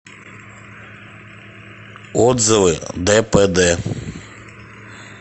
отзывы дпд